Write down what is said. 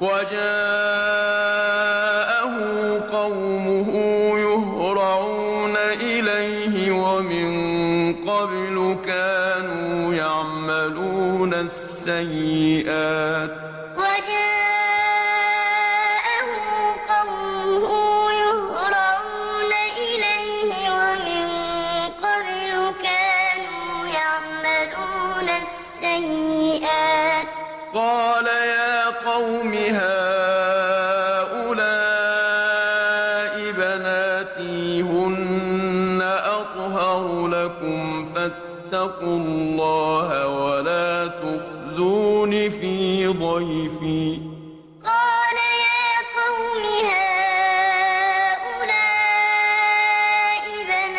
وَجَاءَهُ قَوْمُهُ يُهْرَعُونَ إِلَيْهِ وَمِن قَبْلُ كَانُوا يَعْمَلُونَ السَّيِّئَاتِ ۚ قَالَ يَا قَوْمِ هَٰؤُلَاءِ بَنَاتِي هُنَّ أَطْهَرُ لَكُمْ ۖ فَاتَّقُوا اللَّهَ وَلَا تُخْزُونِ فِي ضَيْفِي ۖ أَلَيْسَ مِنكُمْ